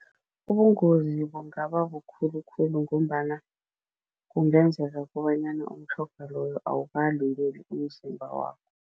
Ubungozi bungaba bukhulu khulu ngombana kungenzeka kobanyana umtjhoga loyo awukalungeli umzimba wakho.